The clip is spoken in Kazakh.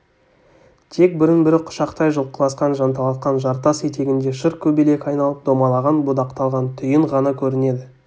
тек бірін-бірі құшақтай жұлқыласқан жанталасқан жартас етегінде шыр-көбелек айналып домалаған будақталған түйін ғана көрінеді